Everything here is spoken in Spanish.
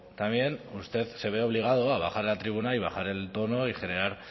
también usted se ve obligado a bajar a la tribuna y bajar el tono y generar